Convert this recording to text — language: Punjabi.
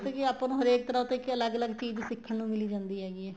ਪਤਾ ਕੀ ਆਪਾਂ ਨੂੰ ਹਰੇਕ ਦਾ ਦੇਖਕੇ ਅਲੱਗ ਅਲੱਗ ਚੀਜ਼ ਸਿੱਖਣ ਨੂੰ ਮਿਲੀ ਜਾਂਦੀ ਹੈਗੀ ਏ